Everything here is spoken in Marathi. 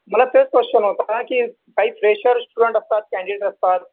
मला तोच क्वेशन होता. काही फ्रेशर, स्टुडन्ट असतात. कँडिडेट असतात.